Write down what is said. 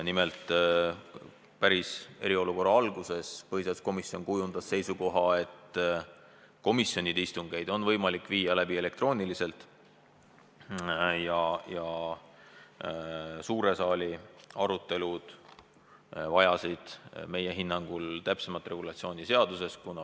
Nimelt, päris eriolukorra alguses kujundas põhiseaduskomisjon seisukoha, et komisjonide istungeid on võimalik viia läbi elektrooniliselt, aga suure saali arutelud vajasid meie hinnangul täpsemat regulatsiooni seaduses.